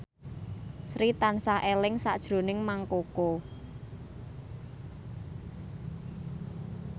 Sri tansah eling sakjroning Mang Koko